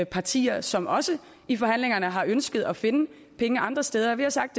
partier som også i forhandlingerne har ønsket at finde penge andre steder vi har sagt